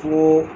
Ko